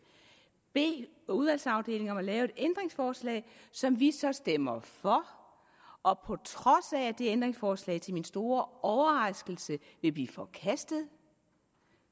bede udvalgsafdelingen om at lave et ændringsforslag som vi så stemmer for og på trods af at det ændringsforslag til min store overraskelse vil blive forkastet